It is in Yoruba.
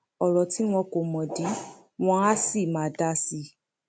ọrọ tí wọn kọ mọdì wọn àá sì máa dà sí i